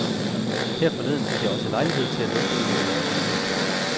Her forleden fik jeg også lejlighed til at lufte en af mine yndlingstanker.